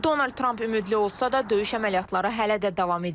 Donald Tramp ümidli olsa da, döyüş əməliyyatları hələ də davam edir.